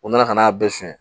U nana ka n'a bɛɛ sɔn